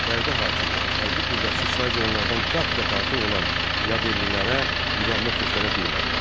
Bərdə hakimi hərbi qüvvəsi saicə onlardan qat-qat artıq olan yadellilərə müqavimət göstərə bilmədi.